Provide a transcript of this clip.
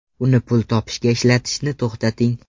Uni pul topishga ishlatishni to‘xtating.